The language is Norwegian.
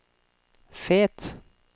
Fet